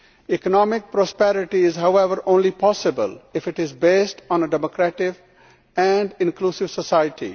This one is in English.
Economic prosperity is, however, only possible if it is based on a democratic and inclusive society.